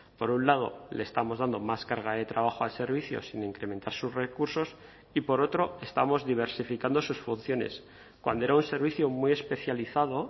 por un lado le estamos dando más carga de trabajo al servicio sin incrementar sus recursos y por otro estamos diversificando sus funciones cuando era un servicio muy especializado